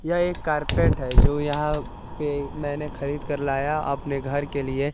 यह एक कारपेट है जो यहां पे मैने खरीद कर लाया आपने घर के लिए।